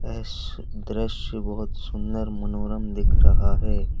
इस दृश्य बोहोत सुंदर मनोरम दिख रहा है।